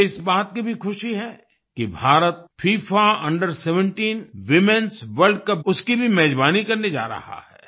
मुझे इस बात की भी खुशी है कि भारत फिफा अंडर 17 womenएस वर्ल्ड कप उसकी भी मेजबानी करने जा रहा है